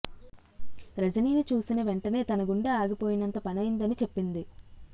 రజనీని చూసిన వెంటనే తన గుండె ఆగిపోయినంత పనైంది అని చెప్పింది